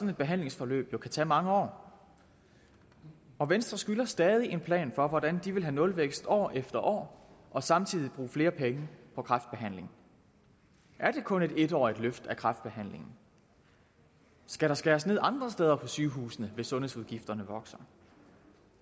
et behandlingsforløb jo kan tage mange år og venstre skylder stadig en plan for hvordan de vil have nulvækst år efter år og samtidig bruge flere penge på kræftbehandling er det kun et en årig t løft af kræftbehandlingen skal der skæres ned andre steder på sygehusene hvis sundhedsudgifterne vokser